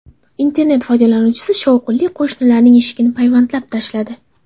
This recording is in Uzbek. Internet foydalanuvchisi shovqinli qo‘shnilarining eshigini payvandlab tashladi.